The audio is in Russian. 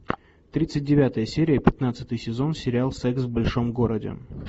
тридцать девятая серия пятнадцатый сезон сериал секс в большом городе